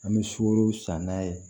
An bɛ sukoro san n'a ye